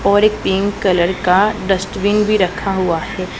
और एक pink colour का डस्टबिन भी रखा हुआ है।